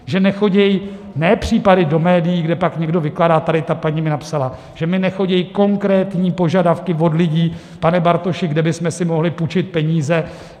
Že nechodí - ne případy do médií, kde pak někdo vykládá, tady ta paní mi napsala - že mi nechodí konkrétní požadavky od lidí: Pane Bartoši, kde bychom si mohli půjčit peníze?